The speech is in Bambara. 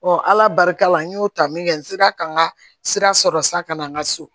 ala barika la n y'o ta min kɛ n sera ka n ka sira sɔrɔ sa ka na n ka so